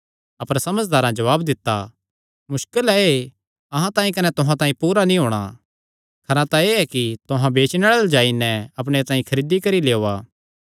अपर समझदारां जवाब दित्ता मुस्कल ऐ एह़ अहां तांई कने तुहां तांई पूरा नीं होणा खरा तां एह़ ऐ कि तुहां बेचणे आल़ेआं अल्ल जाई नैं अपणे तांई खरीदी करी लेई ओआ